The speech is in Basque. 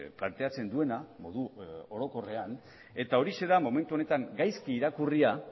planteatzen duena modu orokorrean eta horixe da momentu honetan gaizki irakurria